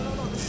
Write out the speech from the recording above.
Lolo lolo!